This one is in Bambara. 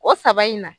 O saba in na